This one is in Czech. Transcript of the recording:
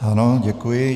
Ano, děkuji.